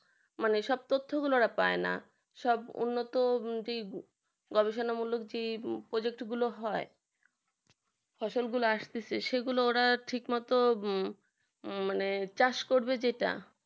মানে এরা সব তথ্যগুলো পাইনা সব উন্নত যে গবেষণামূলক যে প্রযুক্তি গুলো হয় ফসলগুলো আসতেছে সেগুলো ওরা ঠিক মতো মানে হম মানে চাষ করবে যেটা